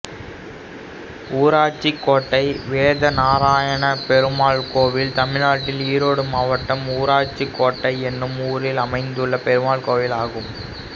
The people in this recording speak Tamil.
ஊராட்சிக் கோட்டை வேதநாராயணப்பெருமாள் கோயில் தமிழ்நாட்டில் ஈரோடு மாவட்டம் ஊராட்சிக் கோட்டை என்னும் ஊரில் அமைந்துள்ள பெருமாள் கோயிலாகும்